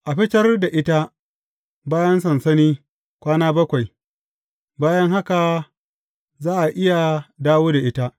A fitar da ita bayan sansani kwana bakwai; bayan haka za a iya dawo da ita.